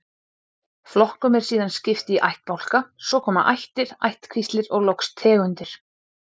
Flokkum er síðan skipt í ættbálka, svo koma ættir, ættkvíslir og loks tegundir.